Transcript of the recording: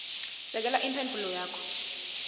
sekela imphendvulo yakho